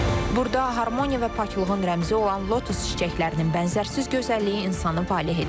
Burda harmoniya və paklığın rəmzi olan lotus çiçəklərinin bənzərsiz gözəlliyi insanı valeh edir.